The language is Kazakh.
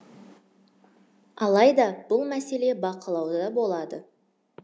алайда бұл мәселе бақылауда болады